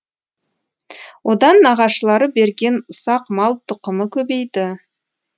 одан нағашылары берген ұсақ мал тұқымы көбейді